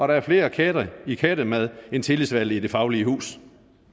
der er flere katte i kattemad end tillidsvalgte i det faglige hus